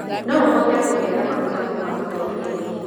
No ũhote kugĩa na maguta kumanmĩkorobia-inĩ